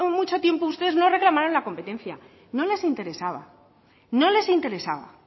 mucho tiempo ustedes no reclamaron la competencia no les interesaba no les interesaba